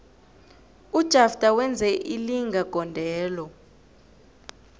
ujafter wenze ilinga gondelo